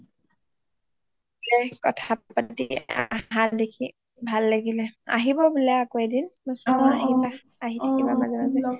সেই কথা পাতি আহাঁ দেখি ভাল লাগিলে আহিব বোলে আকৌ এদিন আহি থাকিবা মাজে মাজে